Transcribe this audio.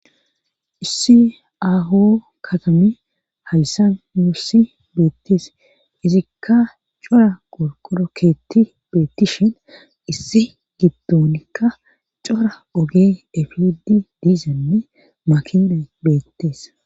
Issi aaho katami hayssa mussi beettees izikka cora qorqoro keetti beettishen issi giddonikka cora oge efidi diizanne makina beettees